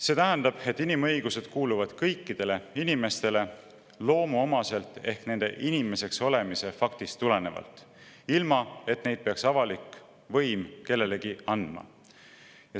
See tähendab, et inimõigused kuuluvad kõikidele inimestele loomuomaselt ehk nende inimeseks olemise faktist tulenevalt, ilma et avalik võim peaks neid õigusi kellelegi andma.